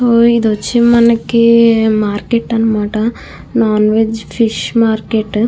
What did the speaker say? ఇధి వచ్చి మనకీ మార్కెట్ అని మాట ఇధి నాన్ వెజ్ ఫిష్ మార్కెట్ .